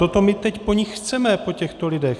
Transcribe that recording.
Toto my teď po ní chceme, po těchto lidech!